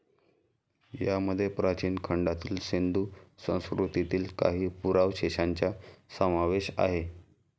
यामध्ये प्राचीन खंडातील सिंधू संस्कृतीतील काही पुरावशेशांचा समावेश आहे.